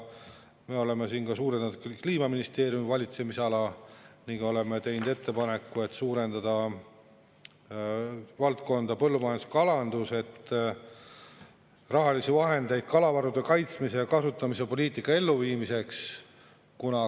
ministeeriumi valitsemisala puhul oleme teinud ettepaneku suurendada valdkonna "Põllumajandus ja kalandus" rahalisi vahendeid kalavarude kaitsmise ja kasutamise poliitika elluviimiseks.